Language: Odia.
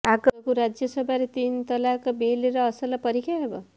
ଆଗକୁ ରାଜ୍ୟସଭାରେ ତିନି ତଲାକ ବିଲର ଅସଲ ପରୀକ୍ଷା ହେବ